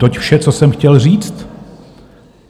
Toť vše, co jsem chtěl říct.